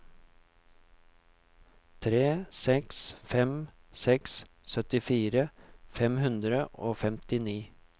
tre seks fem seks syttifire fem hundre og femtifem